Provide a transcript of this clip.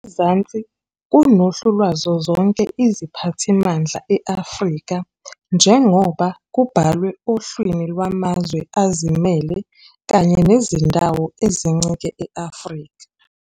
Ngezansi kunohlu lwazo zonke iziphathimandla e-Afrika njengoba kubhalwe ohlwini lwamazwe azimele kanye nezindawo ezincike e-Afrika.